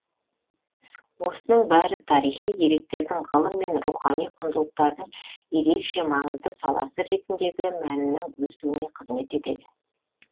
осының бәрі тарихи деректердің ғылым мен рухани құндылықтардың ерекше маңызды саласы ретіндегі мәнінің өсуіне қызмет етеді